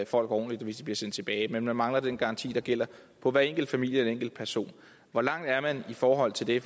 folk ordentligt hvis de bliver sendt tilbage men man mangler den garanti der gælder for hver enkelt familie eller hver enkelt person hvor langt er man i forhold til det